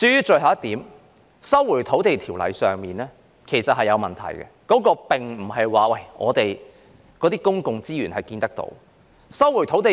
最後，有關《收回土地條例》的建議其實是有問題的，它所關乎的公共資源並非肉眼所能看見。